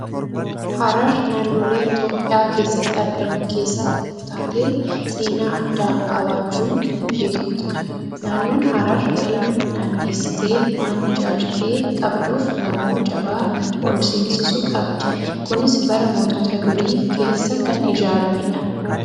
Harar naannolee Itoophiyaa keessatti argaman keessaa tokko taatee, seenaa addaa qabaachuun kan beektudha. Naannoon Harar galma naannessitee waan ijaartee qabduuf, gamoo jabaa ol seensisu qabdi. Kunis bara mootota durii keessa kan ijaaramedha.